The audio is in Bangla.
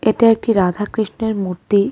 এটা একটি রাধা কৃষ্ণের মূর্তি।